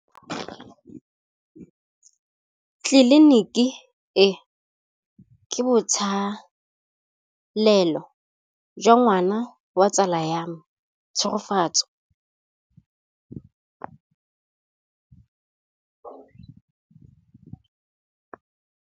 Tleliniki e, ke botsalêlô jwa ngwana wa tsala ya me Tshegofatso.